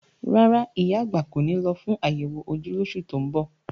Rárá, ìyá àgbà kò ní lọ fún àyẹ̀wò ojú lóṣù tó ń bọ̀.